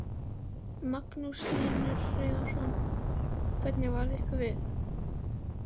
Magnús Hlynur Hreiðarsson: Hvernig varð ykkur við?